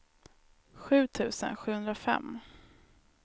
sju tusen sjuhundrafem